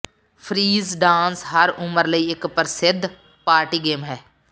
freeze dance ਹਰ ਉਮਰ ਲਈ ਇੱਕ ਪ੍ਰਸਿੱਧ ਪਾਰਟੀ ਗੇਮ ਹੈ